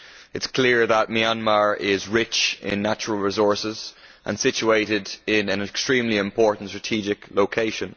It is clear that Myanmar is rich in natural resources and situated in an extremely important strategic location.